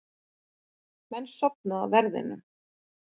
Menn sofni á verðinum